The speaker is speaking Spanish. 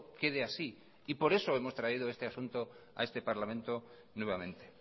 quede así y por eso hemos traído este asunto a este parlamento nuevamente